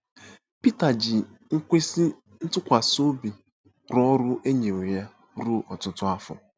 Pita ji ikwesị ntụkwasị obi rụọ ọrụ e nyere ya ruo ọtụtụ afọ.